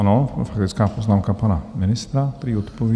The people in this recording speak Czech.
Ano, faktická poznámka pana ministra, prý odpoví.